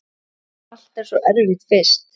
Allt er svo erfitt fyrst.